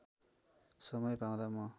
समय पाउँदा म